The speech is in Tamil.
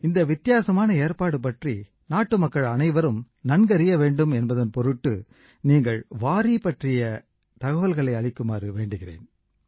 இந்த வித்தியாசமான ஏற்பாடு பற்றி நாட்டு மக்கள் அனைவரும் நன்க அறிய வேண்டும் என்பதன் பொருட்டு நீங்கள் வாரீ பற்றிய தகவல்களை அளிக்குமாறு வேண்டுகிறேன்